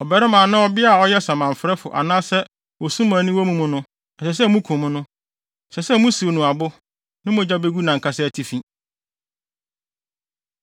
“ ‘Ɔbarima anaa ɔbea a ɔyɛ samanfrɛfo anaasɛ osumanni wɔ mo mu no, ɛsɛ sɛ mukum no. Ɛsɛ sɛ musiw no abo; ne mogya begu nʼankasa atifi.’ ”